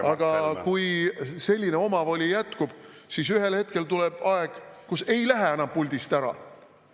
Aga kui selline omavoli jätkub, siis ühel hetkel tuleb aeg, kui ei lähe enam puldist ära.